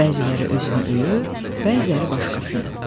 Bəziləri özünü öyür, bəziləri başqasını.